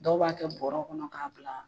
Dɔw b'a kɛ bɔrɔ kɔnɔ k'a bila